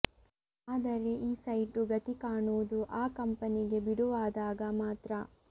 ಆದರೆ ಈ ಸೈಟು ಗತಿ ಕಾಣುವುದು ಆ ಕಂಪನಿಗೆ ಬಿಡುವಾದಾಗ ಮಾತ್ರ